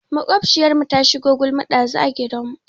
Maƙwabciyarmu ta shigo gulma ɗazu a gidanmu.